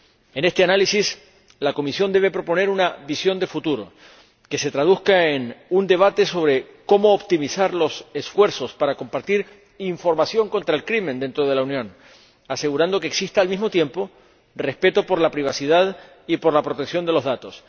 En este análisis, la Comisión debe proponer una visión de futuro que se traduzca en un debate sobre cómo optimizar los esfuerzos para compartir información contra el crimen dentro de la Unión, asegurando que exista, al mismo tiempo, respeto por la privacidad y por la protección de los datos.